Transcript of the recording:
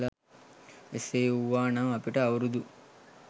එසේ වූවා නම් අපිට අවුරුදු